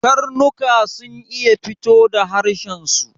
Karnuka sun iya fito da harshen su